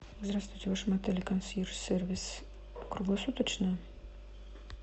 здравствуйте в вашем отеле консьерж сервис круглосуточно